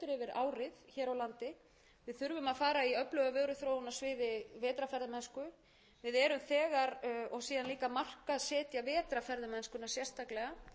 á landi við þurfum að fara í öfluga vöruþróun á sviði vetrarferðamennsku og síðan líka markaðssetja vetrarferðamennsku sérstaklega jafnframt þegar ég